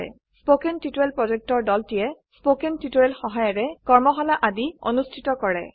কথন শিক্ষণ প্ৰকল্পৰ দলটিয়ে কথন শিক্ষণ সহায়িকাৰে কৰ্মশালা আদি অনুষ্ঠিত কৰে